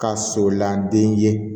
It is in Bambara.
Ka sɔlan den ye